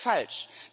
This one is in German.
Das ist falsch!